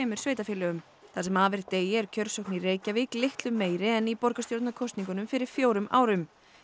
sveitarfélögum það sem af er degi er kjörsókn í Reykjavík er litlu meiri en í borgarstjórnarkosningunum fyrir fjórum árum